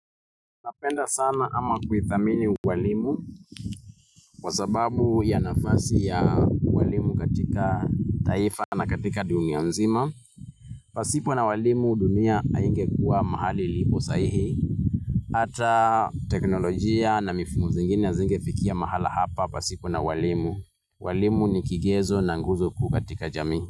Napenda sana ama kuhithamini ualimu, kwa sababu ya nafasi ya walimu katika taifa na katika dunia mzima. Pasipo na walimu dunia hainge kuwa mahali ilipo sahii. Ata teknolojia na mifumo zingine hazingefikia mahala hapa pasipo na walimu. Walimu ni kigezo na nguzo kuu katika jamii.